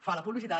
fa la publicitat